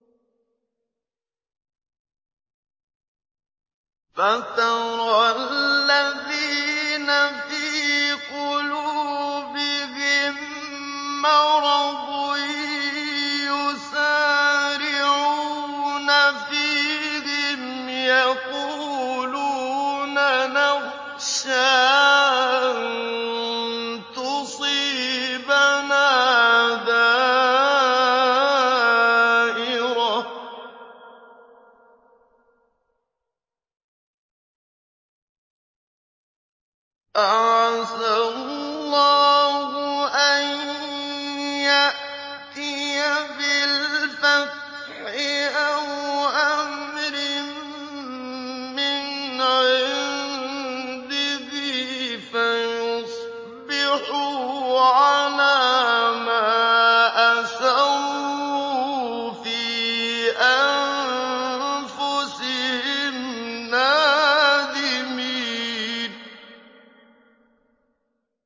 فَتَرَى الَّذِينَ فِي قُلُوبِهِم مَّرَضٌ يُسَارِعُونَ فِيهِمْ يَقُولُونَ نَخْشَىٰ أَن تُصِيبَنَا دَائِرَةٌ ۚ فَعَسَى اللَّهُ أَن يَأْتِيَ بِالْفَتْحِ أَوْ أَمْرٍ مِّنْ عِندِهِ فَيُصْبِحُوا عَلَىٰ مَا أَسَرُّوا فِي أَنفُسِهِمْ نَادِمِينَ